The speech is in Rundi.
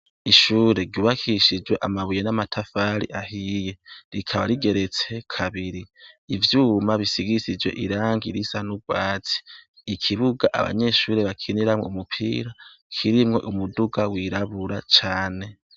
Ishure ryubakishijwe amabuye n'amatafari ahiye. Rikaba rigeretse kabiri. Ivyuma bisigishijwe irangi risa n'urwatsi. Ikibuga abanyeshure bakiniramwo umupira kirimwo umuduga wirabura cane.